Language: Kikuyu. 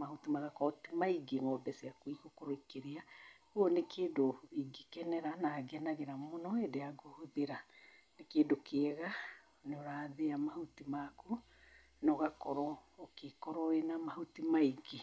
mahuti magakorwo ti maingĩ ng'ombe ciaku igũkorwo ikĩrĩa. Koguo nĩ kĩndũ ingĩkenera na ngenagĩra mũno hindĩ ya kũhũthĩra. Nĩ kĩndũ kĩega nĩũrathĩa mahuti maku na ũgakorwo ũgĩkorwo wĩna na mahuti maingĩ.